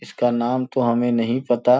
इसका नाम तो हमें नहीं पता।